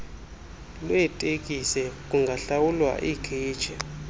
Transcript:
lweeteksi kungahlawulwa ikheshi